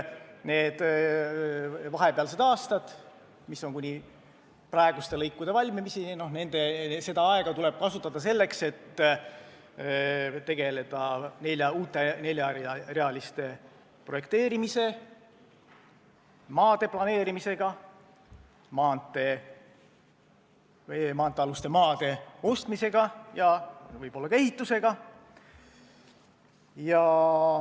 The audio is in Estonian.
Neid aastaid, mis eelnevad praeguste lõikude valmimisele, tuleb kasutada selleks, et tegeleda uute neljarealiste maanteede projekteerimisega, maa planeerimisega, maanteealuse maa ostmisega ja võib-olla ka ehitusega.